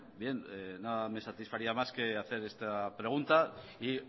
bien nada me satisfaría más que hacer esta pregunta y